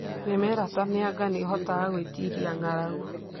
Mĩmera ta mĩanga nĩ ĩhotaga gwĩtiiria ng'aragu.